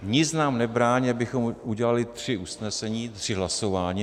Nic nám nebrání, abychom udělali tři usnesení, tři hlasování.